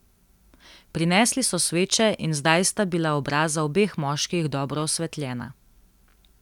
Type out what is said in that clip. Prinesli so sveče in zdaj sta bila obraza obeh moških dobro osvetljena.